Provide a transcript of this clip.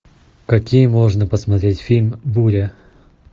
какие можно посмотреть фильм буря